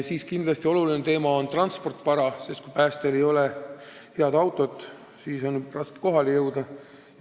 Üks tähtis teema on transportvara, sest kui päästjail ei ole head autot, siis on neil raske kohale jõuda.